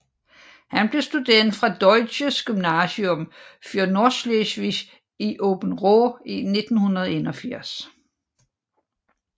Han blev student fra Deutsches Gymnasium für Nordschleswig i Åbenrå i 1981